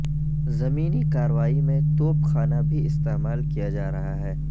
زمینی کارروائی میں توپ خانہ بھی استعمال کیا جارہا ہے